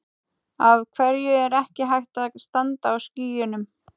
Af hverju er ekki hægt að standa á skýjunum?